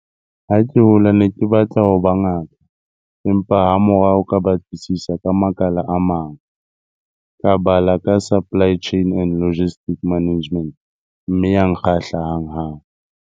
Ha ke hola ke ne ke batla ho ba ngaka, empa hamorao ka batlisisa ka makala a mang. Ka bala ka supply chain and logistics management mme ya nkgahla hanghang.